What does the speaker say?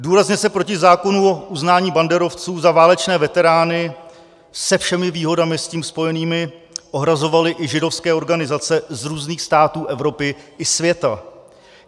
Důrazně se proti zákonu o uznání banderovců za válečné veterány se všemi výhodami s tím spojenými ohrazovaly i židovské organizace z různých států Evropy i světa.